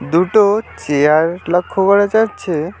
দুটো চেয়ার লক্ষ করা যাচ্ছে।